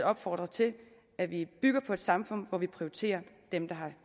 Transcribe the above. opfordre til at vi bygger på et samfund hvor vi prioriterer dem der har